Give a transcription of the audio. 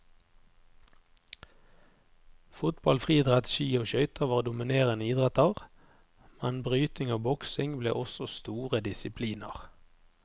Fotball, friidrett, ski og skøyter var dominerende idretter, men bryting og boksing ble også store disipliner.